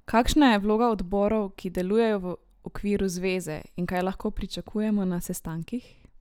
Kakšna je vloga odborov, ki delujejo v okviru zveze, in kaj lahko pričakujemo na sestankih?